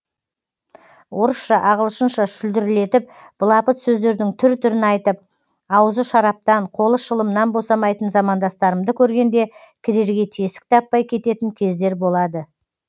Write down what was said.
орысша ағылшынша шүлдірлетіп былапыт сөздердің түр түрін айтып аузы шараптан қолы шылымнан босамайтын замандастарымды көргенде кірерге тесік таппай кететін кездер болады